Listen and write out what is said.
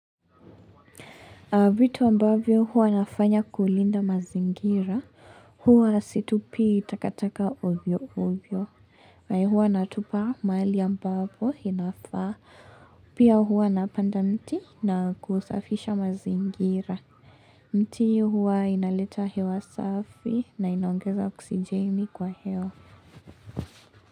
Vitu ambavyo huwa nafanya kulinda mazingira, huwa situpi takataka ovyo ovyo. Haiya huwa natupa mahali ambapo inafaa, pia huwa napanda mti na kusafisha mazingira. Mti huwa inaleta hewa safi na inaongeza oksijeni kwa hewa.